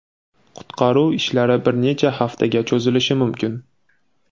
Qutqaruv ishlari bir necha haftaga cho‘zilishi mumkin.